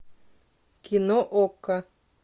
кино окко